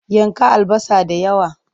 Yanka albasa da yawa!